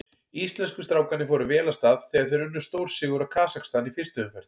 Íslensku strákarnir fóru vel af stað þegar þeir unnu stórsigur á Kasakstan í fyrstu umferð.